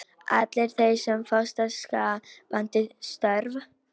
Allir þeir sem fást við skapandi störf.